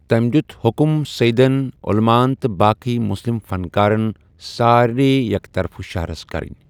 تٔمۍ دیُت حکم سیدن، عُلماعن تہٕ باقےٕ مُسلِم فنکارن سٲرے یک طرف شہرس کرنۍ۔